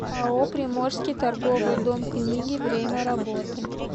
ао приморский торговый дом книги время работы